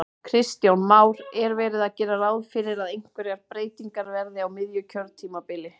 Kristján Már: Er verið að gera ráð fyrir að einhverjar breytingar verði á miðju kjörtímabili?